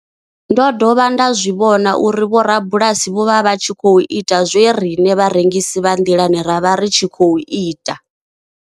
Ndo dovha nda zwi vhona uri vhorabulasi vho vha vha tshi khou ita zwe riṋe vharengisi vha nḓilani ra vha ri tshi khou ita.